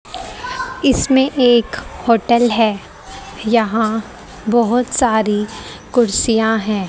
इसमें एक होटल है यहां बहोत सारी कुर्सियां हैं।